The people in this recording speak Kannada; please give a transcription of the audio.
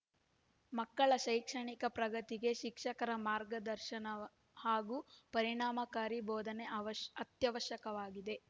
ಮಕ್ಕಳ ಶೈಕ್ಷಣಿಕ ಪ್ರಗತಿಗೆ ಶಿಕ್ಷಕರ ಮಾರ್ಗದರ್ಶನ ಹಾಗು ಪರಿಣಾಮಕಾರಿ ಬೋಧನೆ ಅವ್ಯಶ್ ಅತ್ಯವಶ್ಯಕವಾಗಿದೆ